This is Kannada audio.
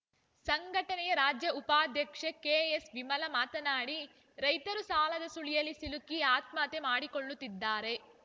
ಸಂಘಟನೆಯ ರಾಜ್ಯ ಉಪಾಧ್ಯಕ್ಷೆ ಕೆಎಸ್‌ವಿಮಲಾ ಮಾತನಾಡಿ ರೈತರು ಸಾಲದ ಸುಳಿಯಲ್ಲಿ ಸಿಲುಕಿ ಆತ್ಮಹತ್ಯೆ ಮಾಡಿಕೊಳ್ಳುತ್ತಿದ್ದಾರೆ